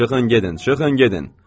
Çıxın gedin, çıxın gedin!